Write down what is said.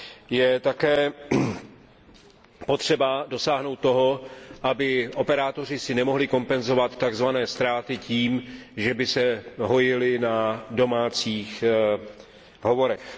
Je také potřeba dosáhnout toho, aby si operátoři nemohli kompenzovat tzv. ztráty tím, že by se hojili na domácích hovorech.